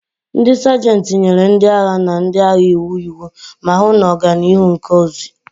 Ndị Sajentị nyere ndị agha na ndị agha iwu iwu, ma hụ na oganihu nke ozi.